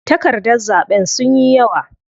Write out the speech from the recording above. Takardar zaɓen sunyi yawa.